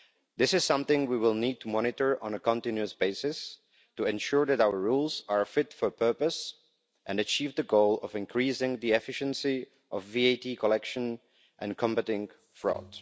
This is something we will need to monitor on a continuous basis to ensure that our rules are fit for purpose and achieve the goal of increasing the efficiency of VAT collection and combating fraud.